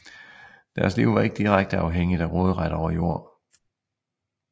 Deres liv var ikke direkte afhængigt af råderet over jord